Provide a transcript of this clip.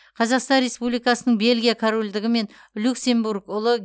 қазақстан республикасының бельгия корольдігі мен люксембург ұлы